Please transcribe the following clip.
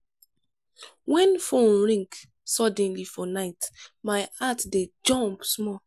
wen phone ring suddenly for night my heart dey jump small.